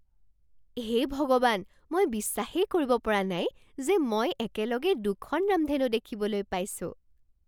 হে ভগৱান, মই বিশ্বাস কৰিব পৰা নাই যে মই একেলগে দুখন ৰামধেনু দেখিবলৈ পাইছোঁ!